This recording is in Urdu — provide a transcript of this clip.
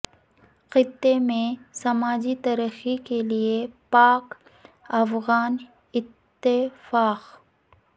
خطے میں سماجی ترقی کے لیے پاک افغان اتفاق